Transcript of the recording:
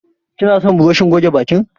Kina son burushin goge bakin?